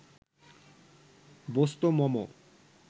বস্তু মম